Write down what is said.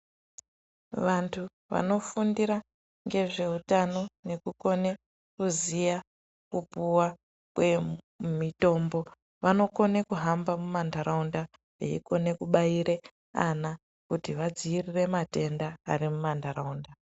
Vanthu vanofundira ngezveutano nekukone kuziya kupuwa kwemitombo vanokone kuhamba mumantaraunda veikone kubaira ana kuti vadziirire matenda ari mumantaraunda.